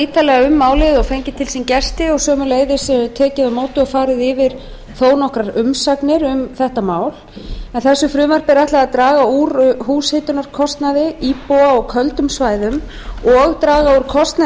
ítarlega um málið og fengið til sín gesti og sömuleiðis tekið á móti og farið yfir þó nokkrar umsagnir um þetta mál þessu frumvarpi er ætlað að draga úr húshitunarkostnaði íbúa á köldum svæðum og draga úr kostnaði